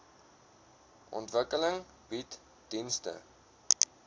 ontwikkeling bied dienste